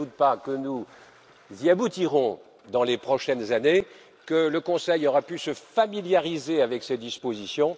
Je ne doute pas que nous y arriverons dans les prochaines années, que le Conseil aura pu se familiariser avec ces dispositions.